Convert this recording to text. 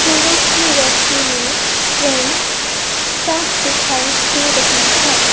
सूरज की रोशनी में ट्रैन साफ दिखाई दे रही है।